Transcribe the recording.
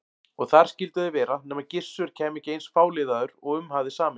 Og þar skyldu þeir vera nema Gissur kæmi ekki eins fáliðaður og um hafði samist.